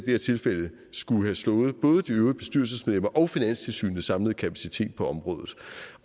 her tilfælde skulle have slået både de øvrige bestyrelsesmedlemmers og finanstilsynets samlede kapacitet på området